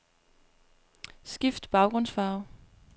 Skift baggrundsfarve.